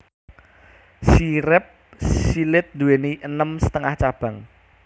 Sirip silèt nduwèni enem setengah cabang